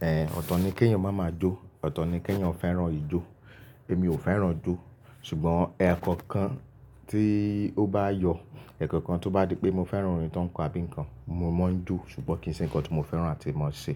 Èé ọ̀tọ̀ ni kí ènìyàn má máa jó, ọ̀tọ̀ ni kí ènìyàn fẹ́ràn ìjó. Èmi ò fẹ́ràn jó ṣùgbọ́n ẹ̀kọ̀kan tí ó bá yọ, ẹ̀kọ̀kan tó bá di pé mo fẹ́ràn orin tó ń kọ abínǹkan, mo máa ń jó ṣùgbọ́n kì í ṣe ǹkan tó mo fẹ́ràn àti mo ń ṣe.